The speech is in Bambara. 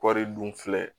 Kɔɔri dun filɛ